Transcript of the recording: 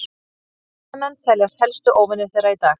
sportveiðimenn teljast helstu óvinir þeirra í dag